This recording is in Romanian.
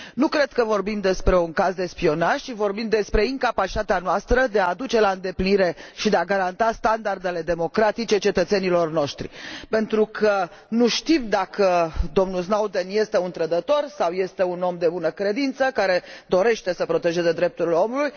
Nu cred că vorbim despre un caz de spionaj, ci vorbim despre incapacitatea noastră de a duce la îndeplinire și de a garanta standardele democratice cetățenilor noștri, pentru că nu știm dacă domnul Snowden este un trădător sau este un om de bună credință, care dorește să protejeze drepturile omului.